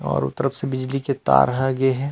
और ओ तरफ से बिजली के तार ह गे हे।